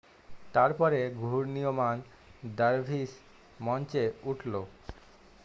তারপরে ঘূর্ণিয়মান দারভিস মঞ্চে উঠল